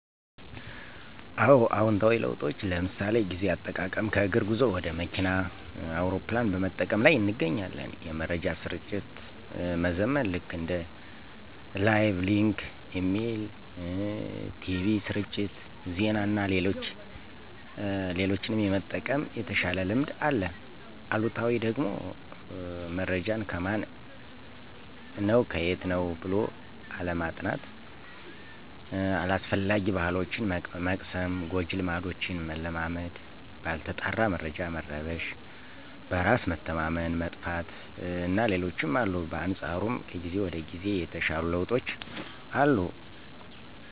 አወ። አዎንታዊ ለውጦች ለምሣሌ፦ ጊዜ አጠቃቀም ከእግር ጉዞ ወደ መኪና፣ አውሮፕላን በመጠቀም ላይ ይገኛል። የመረጃ ስርጭት መዘመን ልክ እንደ ላይቭ፣ ሊንክ፣ ኢሜል፣ ቲቪ ስርጭት፣ ዜና እና ሌሎችም የመጠቀም የተሻለ ልምድ አለ። አሉታዊው ደግሞመረጃን ከማን ነው ከየት ነው ብሎ አለማጥናት። አላስፈላጊ ባሕሎችን መቅሰም፣ ጎጂ ልማዶችን መለማመድ፣ ባልተጣራ መረጃ መረበሽ፣ በራስ መተማመን መጥፋት እና ሌሎችም አሉ። በአንፃሩም ከጊዜ ወደ ጊዜ የተሻሉ ለውጦች አሉ።